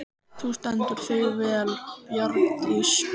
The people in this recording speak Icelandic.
Þú stendur þig vel, Bjargdís!